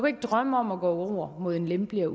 ikke drømme om at gå over imod en lempeligere